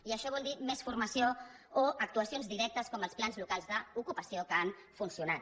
i això vol dir més formació o actua cions directes com els plans locals d’ocupació que han funcionat